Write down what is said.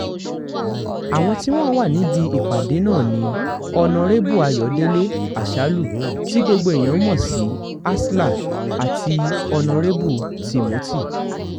àwọn tí wọ́n wà níbi ìpàdé náà ni ọ̀nàrẹ́bù ayọ̀dẹ̀lẹ̀ àsálù tí gbogbo èèyàn mọ̀ sí asler àti onírèbù timothy